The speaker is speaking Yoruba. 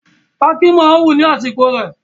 Pákí máa wù ní àsìkò rẹ̀